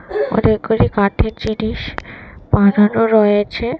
অনেকগুলি কাঠের জিনিস বানানো রয়েছে।